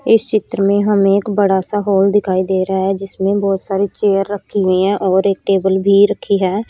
इस चित्र में हमे एक बड़ा सा हॉल दिखाई दे रहा है जिसमें बहोत सारी चेयर रखी हुई है और एक टेबल भी रखी है।